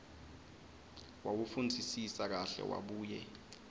wawufundzisisa kahle wabuye